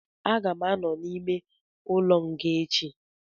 Aga m anọ n'ime ụlọ nga echi